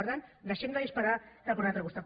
per tant deixem de disparar cap a un altre costat